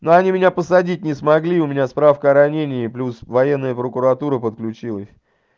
но они меня посадить не смогли у меня справка о ранении плюс военная прокуратура подключилась